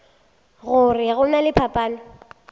gore go na le phapano